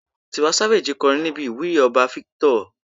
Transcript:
Tiwa Savage kọrin níbi ìwúyè ọba Victor.